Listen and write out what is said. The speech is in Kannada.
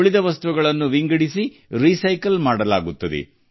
ಉಳಿದ ತ್ಯಾಜ್ಯವನ್ನು ಪ್ರತ್ಯೇಕಿಸಿ ಮರುಬಳಕೆ ಮಾಡಲಾಗುತ್ತದೆ